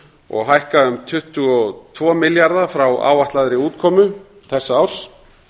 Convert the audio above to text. og hækka um tuttugu og tvo milljarða frá áætlaðri útkomu þessa árs